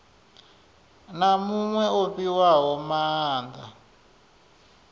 na muṅwe o fhiwaho maanda